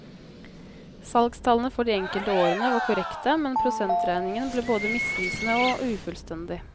Salgstallene for de enkelte årene var korrekte, men prosentregningen ble både misvisende og ufullstendig.